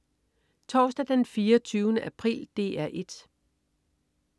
Torsdag den 24. april - DR 1: